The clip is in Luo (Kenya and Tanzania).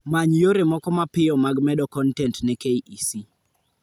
Many yore moko mapiyo mag medo kontent ne KEC